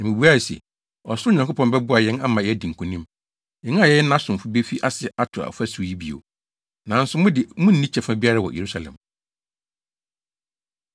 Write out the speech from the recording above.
Na mibuae se, “Ɔsoro Nyankopɔn bɛboa yɛn ama yɛadi nkonim. Yɛn a yɛyɛ nʼasomfo befi ase ato ɔfasu yi bio. Nanso mo de munni kyɛfa biara wɔ Yerusalem.”